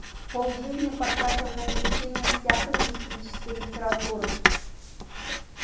полжизни потратил на изучение всякой мистической литературы